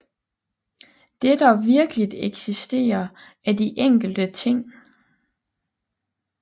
Det der virkeligt eksisterer er de enkelte ting